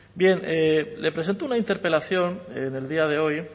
bien le presento una interpelación en el día de hoy